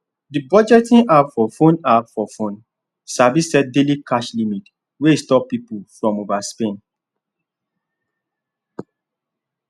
the budgeting app for phone app for phone sabi set daily cash limit wey stop people from overspend